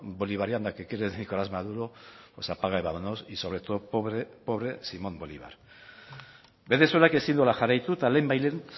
bolivariana que quiere nicolás maduro pues apaga y vámonos y sobre todo pobre pobre simón bolívar venezuelak ezin duela jarraitu eta lehen bai lehen